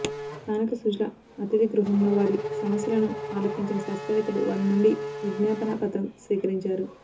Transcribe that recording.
స్థానిక సుజల అతిథిగృహంలో వారి సమస్యలను ఆలకించిన శాస్తవ్రేత్తలు వారి నుండి విజ్ఞాపన పత్రం స్వీకరించారు